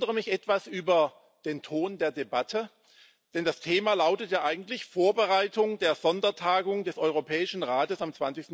Ich wundere mich etwas über den Ton der Debatte, denn das Thema lautet ja eigentlich Vorbereitung der Sondertagung des Europäischen Rates am